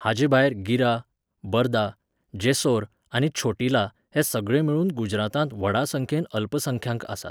हाचेभायर गिरा, बरदा, जेसोर आनी छोटिला हे सगळे मेळून गुजरातांत व्हडा संख्येन अल्पसंख्यांक आसात.